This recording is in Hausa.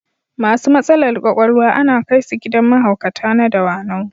Masu matsalar ƙwaƙwalwa ana kai su gidan mahaukata na Dawanau.